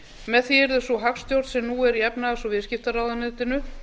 með því yrði sú hagstjórn sem nú er í efnahags og viðskiptaráðuneytinu